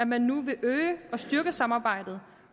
man nu vil øge og styrke samarbejdet